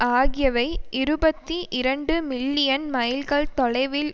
ஆகியவை இருபத்தி இரண்டு மில்லியன் மைல்கள் தொலைவில்